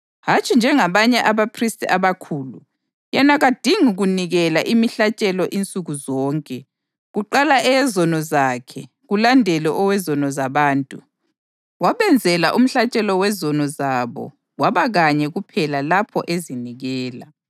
Hatshi njengabanye abaphristi abakhulu, yena kadingi kunikela imihlatshelo insuku zonke, kuqala eyezono zakhe, kulandele owezono zabantu. Wabenzela umhlatshelo wezono zabo kwaba kanye kuphela lapho ezinikela.